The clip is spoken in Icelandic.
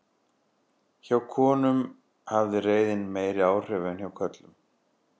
Hjá konum hafði reiðin meiri áhrif en hjá körlum.